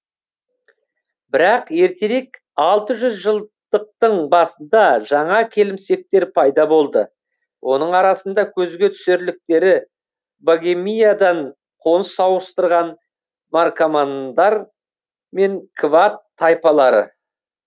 бірақ ертерек алты жүз жылдықтың басында жаңа келімсектер пайда болды оның арасында көзге түсерліктері богемиядан қоныс ауыстырған наркомандар мен квад тайпалары